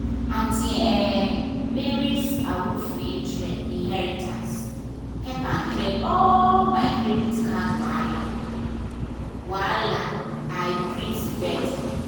aunty um mary’s awoof inheritance help me clear all my credit card wahala wahala — i breathe better.